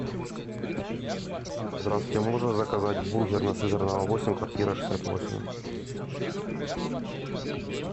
здравствуйте можно заказать бургер на сызранова восемь квартира шестьдесят восемь